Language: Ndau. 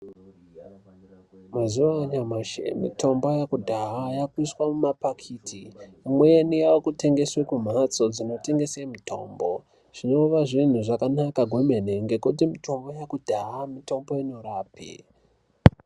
Mazuva anyamashi mitombo yekudhaya inoshandiswa mumapakiti amweni akutengeswa kumbatso dzinotengeswa mitombo zvinova zvinhu zvakanaka kwemene ngekuti mitombo yekudhaya mitombo inorapa.